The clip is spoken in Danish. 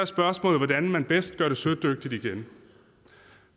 spørgsmålet hvordan man bedst gør det sødygtigt igen